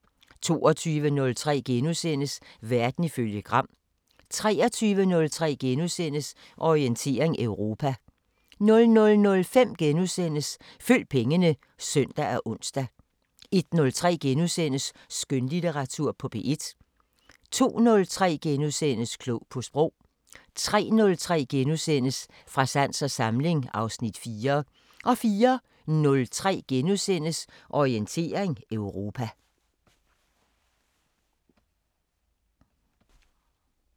22:03: Verden ifølge Gram * 23:03: Orientering Europa * 00:05: Følg pengene *(søn og ons) 01:03: Skønlitteratur på P1 * 02:03: Klog på Sprog * 03:03: Fra sans og samling (Afs. 4)* 04:03: Orientering Europa *